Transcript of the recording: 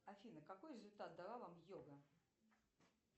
афина какой результат дала вам йога